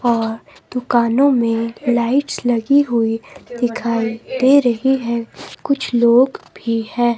और दुकानों में लाइट्स लगी हुई दिखाई दे रही है कुछ लोग भी है।